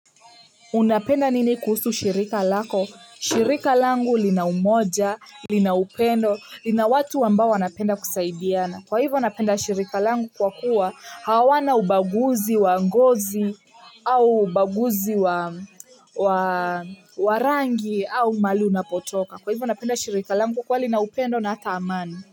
Unapenda nini kuhusu shirika lako shirika langu lina umoja lina upendo lina watu ambai wanapenda kusaidiana kwa hivyo napenda shirika langu kwa kuwa hawana ubaguzi wa ngozi au ubaguzi wa wa rangi au mahali unapotoka kwa hivyo unapenda shirika langu kwa lina upendo na hata amani.